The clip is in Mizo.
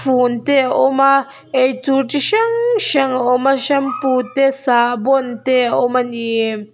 te a awm a eitur ti hrang hrang a awm a shampoo te sahbawn te a awm a ni.